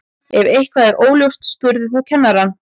ef eitthvað er óljóst spurðu þá kennarann